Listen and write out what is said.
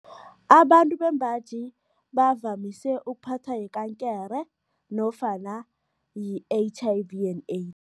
Abantu bembaji bavamise ukuphathwa yikankere nofana i-H_I_V and AIDS.